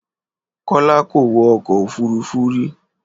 Kọ́lá kò wọ ọkọ̀ òfúrufú rí